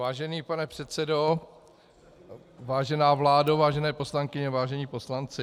Vážený pane předsedo, vážená vládo, vážené poslankyně, vážení poslanci.